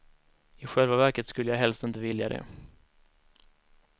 I själva verket skulle jag helst inte vilja det.